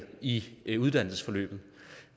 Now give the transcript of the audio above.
i i uddannelsesforløbet